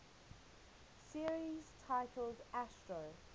series titled astro